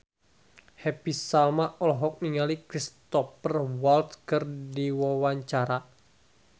Happy Salma olohok ningali Cristhoper Waltz keur diwawancara